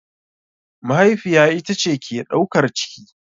Mahaifiya ita ce ke ɗaukar ciki.